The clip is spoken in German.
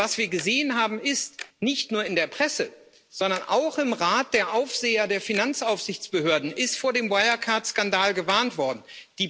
Denn was wir gesehen haben, ist, dass nicht nur in der Presse, sondern auch im Rat der Aufseher der Finanzaufsichtsbehörden vor dem Wirecard Skandal gewarnt worden ist.